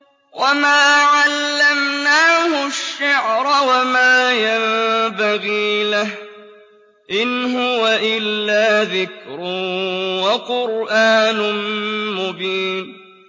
وَمَا عَلَّمْنَاهُ الشِّعْرَ وَمَا يَنبَغِي لَهُ ۚ إِنْ هُوَ إِلَّا ذِكْرٌ وَقُرْآنٌ مُّبِينٌ